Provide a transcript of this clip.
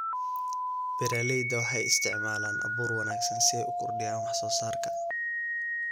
Beeralayda waxay isticmaalaan abuur wanaagsan si ay u kordhiyaan wax soo saarka.